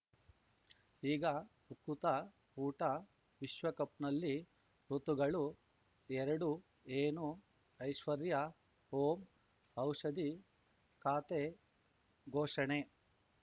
ಈಗ ಉಕುತ ಊಟ ವಿಶ್ವಕಪ್‌ನಲ್ಲಿ ಋತುಗಳು ಎರಡು ಏನು ಐಶ್ವರ್ಯಾ ಓಂ ಔಷಧಿ ಖಾತೆ ಘೋಷಣೆ